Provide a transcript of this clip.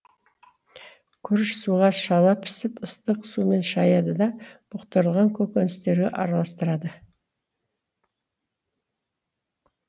күріш суға шала пісііп ыстық сумен шаяды да бұқтырылған көкөністерге араластырады